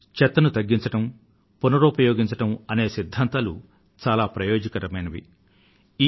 చెత్తను తగ్గించడం తిరిగి ఉపయోగించడం పునరుపయోగించడం అనే సిద్ధాంతాలు చాలా ప్రయోజనకరమైనవి